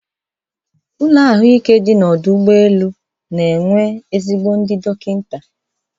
Ụlọ ahụike dị n'ọdụ ụgbọ elu na-enwe ezigbo ndị dọkịta.